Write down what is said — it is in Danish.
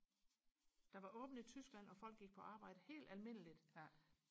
der var åbent i Tyskland og folk gik på arbejde helt almindeligt